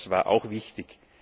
Das war auch wichtig.